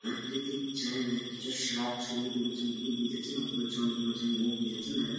প্রাকৃতিক জায়গা কিছু সার ছড়িয়ে দেওয়ার জন্য এগিয়ে যাচ্ছেন অথবা জল দেওয়ার জন্য এগিয়ে যাচ্ছেন নাহলে--